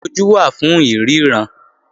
Ojú wà fún ìríran